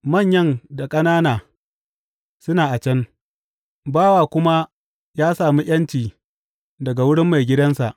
Manyan da ƙanana suna a can, bawa kuma ya sami ’yanci daga wurin maigidansa.